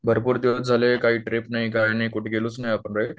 भरपूर दिवस झाले, काही ट्रीप नाही काय नाही. कुठे गेलोच नाही आपण राइट